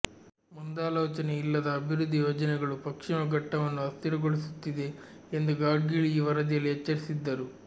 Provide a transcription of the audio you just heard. ಮುಂದಾಲೋಚನೆಯಿಲ್ಲದ ಅಭಿವೃದ್ಧಿ ಯೋಜನೆಗಳು ಪಶ್ಚಿಮ ಘಟ್ಟವನ್ನು ಅಸ್ಥಿರಗೊಳಿಸುತ್ತಿದೆ ಎಂದು ಗಾಡ್ಗೀಳ್ ಈ ವರದಿಯಲ್ಲಿ ಎಚ್ಚರಿಸಿದ್ದರು